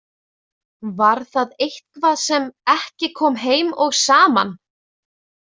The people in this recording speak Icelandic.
Var það eitthvað sem ekki kom heim og saman?